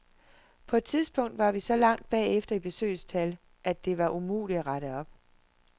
På et tidspunkt var vi så langt bagefter i besøgstal, at det var umuligt at rette op.